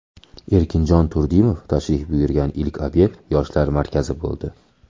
Erkinjon Turdimov tashrif buyurgan ilk obyekt Yoshlar markazi bo‘ldi.